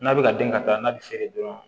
N'a bɛ ka den ka taa n'a bɛ feere dɔrɔn